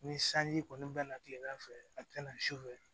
Ni sanji kɔni bɛ na kilegan fɛ a tɛ na sufɛ